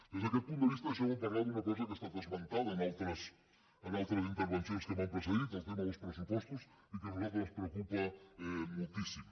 des d’aquest punt de vista deixeu me parlar d’una cosa que ha estat esmentada en altres intervencions que m’han precedit el tema dels pressupostos i que a nosaltres ens preocupa moltíssim